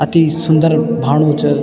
अति सुन्दर भानु च।